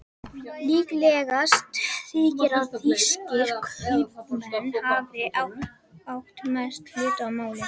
Líklegast þykir að þýskir kaupmenn hafi átt mestan hlut að máli.